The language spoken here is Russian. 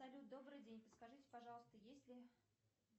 салют добрый день подскажите пожалуйста есть ли